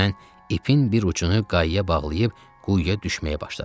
Mən ipin bir ucunu quyuya bağlayıb quyuya düşməyə başladım.